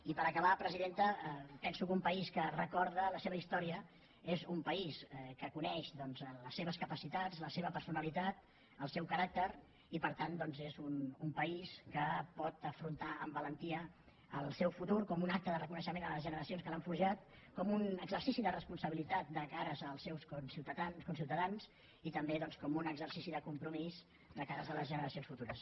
i per acabar presidenta penso que un país que recorda la seva història és un país que coneix doncs les seves capacitats la seva personalitat el seu caràcter i per tant és un país que pot afrontar amb valentia el seu futur com un acte de reconeixement a les generacions que l’han forjat com un exercici de responsabilitat de cares al seus conciutadans i també doncs com un exercici de compromís de cares a les generacions futures